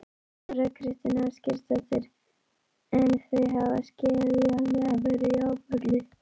Þóra Kristín Ásgeirsdóttir: En þau hafa skiljanlega verið í áfalli?